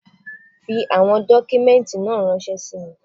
Fi àwọn dọ́kúmẹ́ǹtì náà ránṣẹ́ sí mi.